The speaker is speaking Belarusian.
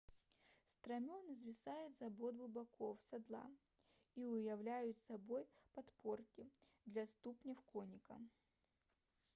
страмёны звісаюць з абодвух бакоў сядла і ўяўляюць сабой падпоркі для ступняў конніка